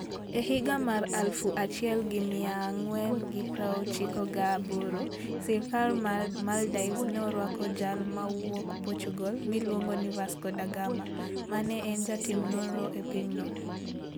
E higa 1498, sirkal mar Maldives ne orwako jal mawuok Portugal miluongo ni Vasco da Gama, ma ne en jatim nonro e pinyno.